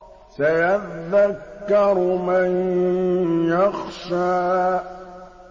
سَيَذَّكَّرُ مَن يَخْشَىٰ